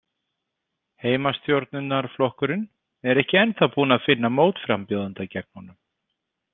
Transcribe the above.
Heimastjórnarflokkurinn er ekki ennþá búinn að finna mótframbjóðanda gegn honum.